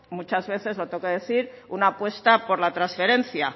muchas veces lo tengo que decir una apuesta por la transferencia